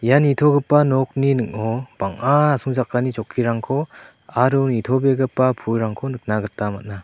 ia nitogipa nokni ning·o bang·a asongchakani chokkirangko aro nitobegipa pulrangko nikna gita man·a.